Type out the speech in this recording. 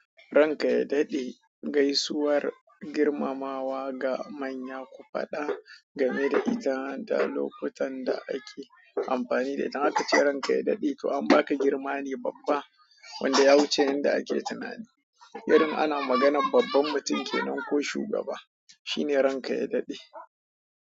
Ranka ya dade gaisuwar girmamawa ga manya, ku fada da lokutan da ake amfani da ita. Akace ranka ya dade to an baka girma ne babba, wanda ya wuce tunani. Irin ana maganr babban mutum kenan ko shugaba, shine ranka ya dade.